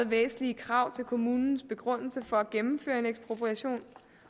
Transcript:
væsentlige krav til både kommunens begrundelse for at gennemføre en ekspropriation